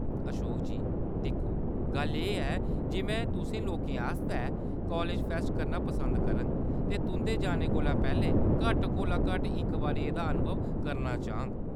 अशोक जी दिक्खो, गल्ल एह्‌‌ ऐ जे में तुसें लोकें आस्तै कालेज फैस्ट करना पसंद करङ ते तुंʼदे जाने कोला पैह्‌‌‌लें घट्ट कोला घट्ट इक बारी एह्‌‌‌दा अनुभव करना चाह्ङ।